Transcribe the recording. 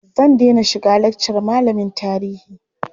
Zan dena shiga lakcar malamin tarihi.